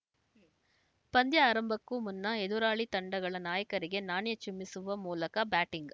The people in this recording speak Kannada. ಪಂದ್ಯ ಆರಂಭಕ್ಕೂ ಮುನ್ನ ಎದುರಾಳಿ ತಂಡಗಳ ನಾಯಕರಿಗೆ ನಾಣ್ಯ ಚಿಮ್ಮಿಸುವ ಮೂಲಕ ಬ್ಯಾಟಿಂಗ್‌